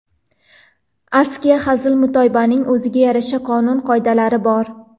Askiya, hazil-mutoyibaning o‘ziga yarasha qonun-qoidalari bor.